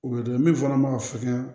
O ye dɛ min fana ma fukɛ